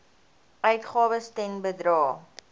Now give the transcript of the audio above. uitgawes ten bedrae